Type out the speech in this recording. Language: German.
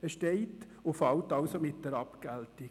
Es steht und fällt also mit der Abgeltung.